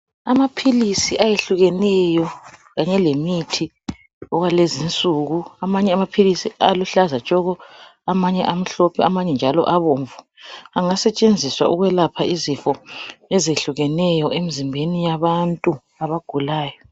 Amaphilisi ayehlukeneyo kanye lemithi okwalezi nsuku. Amanye amaphilisi aluhlaza tshoko, amanye amhlophe amanye njalo abomvu. Angasetshenziswa ukwelapha izifo ezehlukeneyo emzimbeni yabantu abagulayo.